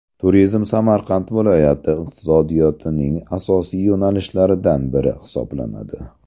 Turizm Samarqand viloyati iqtisodiyotining asosiy yo‘nalishlaridan biri hisoblanadi.